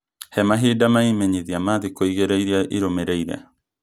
He mahinda ma ĩmenyithia ma thikũ igĩrĩ iria irũmĩrĩire